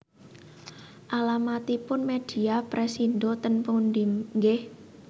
Alamatipun Media Pressindo ten pundi nggih